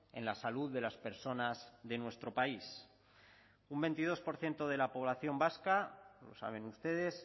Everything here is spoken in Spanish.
en la salud de las personas de nuestro país un veintidós por ciento de la población vasca lo saben ustedes